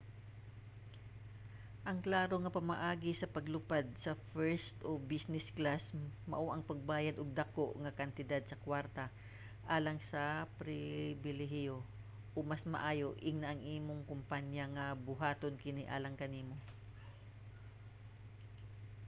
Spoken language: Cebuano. ang klaro nga pamaagi sa paglupad sa first o business class mao ang pagbayad og dako nga kantidad sa kwarta alang sa pribilehiyo o mas maayo ingna imong kompanya nga buhaton kini alang kanimo